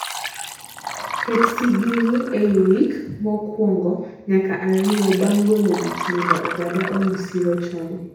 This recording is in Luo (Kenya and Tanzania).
ket sigingi eiy wik mokwongo nyaka ariyo bang golo wich mondo oganda oyud siro chon.